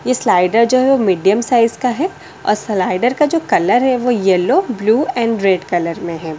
ये स्लाइडर जो है वो मीडियम साइज का है और स्लाइडर का जो कलर है वो yellow blue and red colour में है ।